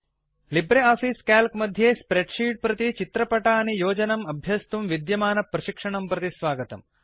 Libre office Calc मध्ये spreadsheet प्रति चित्रपटानि योजनम् अभ्यस्तुं विद्यमानप्रशिक्षणं प्रति स्वागतम्